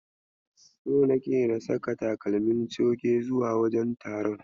So nake na saka takalmi coge zuwa wajen taron.